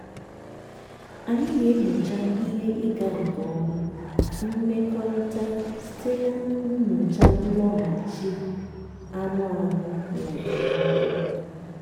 anyị na-enyocha ihe ịga nke ọma imekọrịta site na nyochaa nlọghachi anụ ahụ na okpomọkụ.